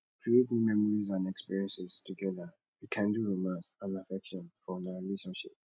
create new memories and experiences together rekindle romance and affection for una relationship